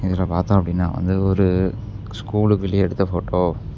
இதுல பாத்தோ அப்படின்னா வந்து ஒரு ஸ்கூலுக்கு வெளிய எடுத்த போட்டோ .